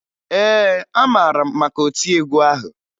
Ee, amara m maka otiegwu ahụ